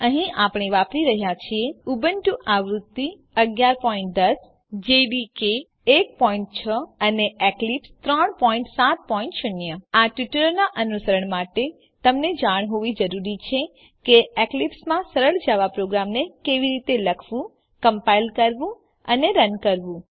અહીં આપણે વાપરી રહ્યા છીએ ઉબુન્ટુ આવૃત્તિ ૧૧૧૦ જાવા ડેવલપમેંટ કીટ ૧૬ અને એક્લીપ્સ ૩૭૦ આ ટ્યુટોરીયલનાં અનુસરણ માટે તમને જાણ હોવી જરૂરી છે કે એક્લીપ્સમાં સરળ જાવા પ્રોગ્રામને કેવી રીતે લખવું કમ્પાઈલ કરવું અને રન કરવું